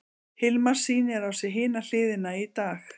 Hilmar sýnir á sér hina hliðina í dag.